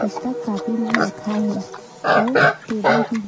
पुस्तक कॉपी मन रखाए हे अऊ टेबल भी हे।